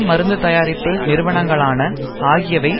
மருந்து தயாரிப்பு நிறுவனங்களான ஆகியவை